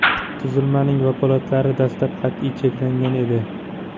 Tuzilmaning vakolatlari dastlab qat’iy cheklangan edi.